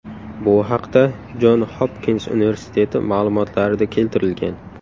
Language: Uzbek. Bu haqda Jon Hopkins universiteti ma’lumotlarida keltirilgan .